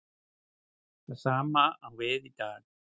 Það sama á við í dag.